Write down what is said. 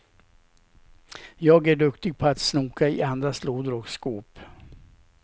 Jag är duktig på att snoka i andras lådor och skåp.